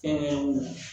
Ɛɛ